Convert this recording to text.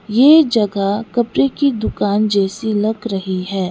ये जगह कपड़े की दुकान जैसी लग रही है।